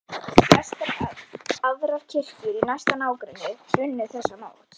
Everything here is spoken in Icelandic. Flestar aðrar kirkjur í næsta nágrenni brunnu þessa nótt.